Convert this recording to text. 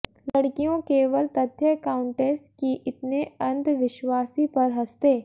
लड़कियों केवल तथ्य काउंटेस कि इतने अंधविश्वासी पर हंसते